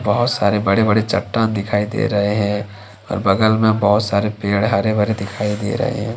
बहुत सारे बड़े बड़े चट्टान दिखाई दे रहे है और बगल में बहुत सारे पेड़ हरे भरे दिखाई दे रहे--